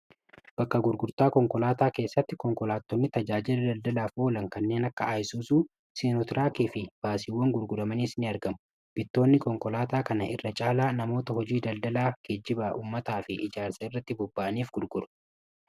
Bakka gurgurtaa konkolaataa keessatti konkolaattonni tajaajira daldalaaf oolan kanneen akka aayisusuu sinutraakii fi baasiiwwan gurguramaniis n argamu bittoonni konkolaataa kana irra caalaa namoota hojii daldalaa kee jiba ummataa fi ijaarsa irratti bobba'aniif gurguru.